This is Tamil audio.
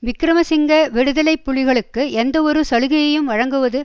விக்கிரமசிங்க விடுதலை புலிகளுக்கு எந்தவொரு சலுகையையும் வழங்குவது